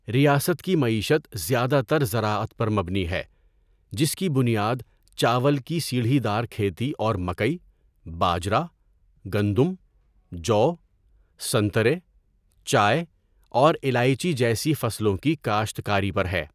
ریاست کی معیشت زیادہ تر زراعت پر مبنی ہے جس کی بنیاد چاول کی سیڑھی دار کھیتی اور مکئی، باجرا، گندم، جو، سنترے، چائے اور الائچی جیسی فصلوں کی کاشت کاری پر ہے۔